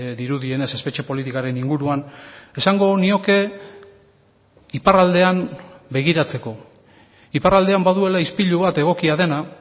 dirudienez espetxe politikaren inguruan esango nioke iparraldean begiratzeko iparraldean baduela ispilu bat egokia dena